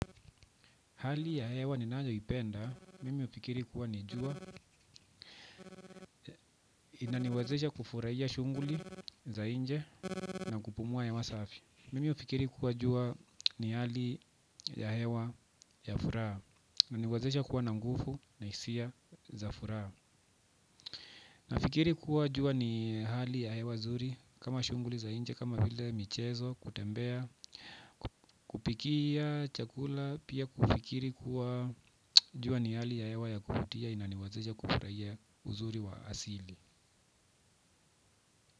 Hali ya hewa ninayo ipenda nimefikiri kua ni jua inaniwezesha kufurahia shunguli za inje na kupumua ya masafi mimi ufikiri kuwa juwa ni hali ya hewa ya furaha ina niwezesha kuwa na nguvu na hisia za furaha nafikiri kuwa jua ni hali ya hewa nzuri kama shughuli za nje kama vile michezo kutembea kupikia chakula pia kufikiri kua jua ni hali ya hewa ya kuvutia inaniwezesha kufurahia uzuri wa asili.